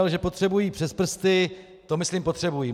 Ale že potřebují přes prsty, to myslím potřebují.